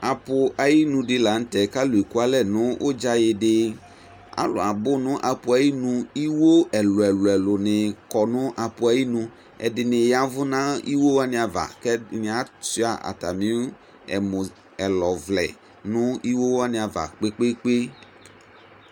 Apʊ ayinu di la nu tɛ alu abu nu apʊ yɛ ayinu iɣo ɛlu ɛlu ni ƙɔnu apu ava ɛlu ɛlu ni abu nu apʊ ayinu alu ɛdi yavu 'u iɣo xani ava acha atami emulɔvlɛ nu iɣo wani ava kpekpe